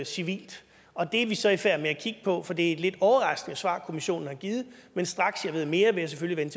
civilt og det er vi så i færd med at kigge på for det er et lidt overraskende svar kommissionen har givet men straks jeg ved mere vil jeg selvfølgelig